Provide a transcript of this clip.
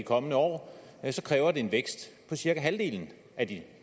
kommende år kræver det en vækst på cirka halvdelen af de